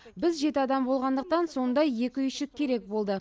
біз жеті адам болғандықтан сондай екі үйшік керек болды